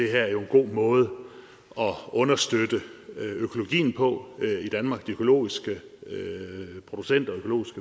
her er jo en god måde at understøtte økologien på i danmark de økologiske producenter